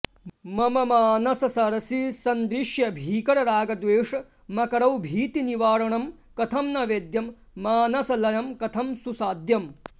मम मानस सरसि सन्दृश्य भीकर रागद्वेष मकरौ भीतिनिवारणं कथं न वेद्यं मानसलयं कथं सुसाद्यम्